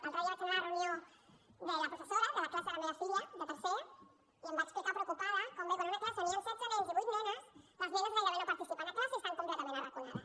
l’altre dia vaig anar a la reunió de la professora de la classe de la meva filla de tercer i em va explicar preocupada com veu que en una classe on hi han setze nens i vuit nenes les nenes gairebé no participen a classe i estan completament arraconades